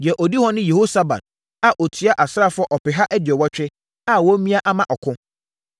Deɛ ɔdi hɔ ne Yehosabad a ɔtua asraafoɔ ɔpeha aduɔwɔtwe (180,000) a wɔamia ama ɔko.